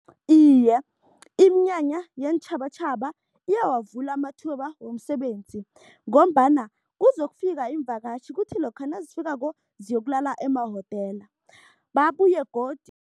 Iye, iminyanya yeentjhabatjhaba iyawavula amathuba womsebenzi ngombana kuzokufika iimvakatjhi, kuthi lokha nazifikako ziyokulala emahotela. Babuye godu